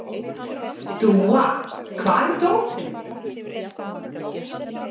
Dúa, hvar er dótið mitt?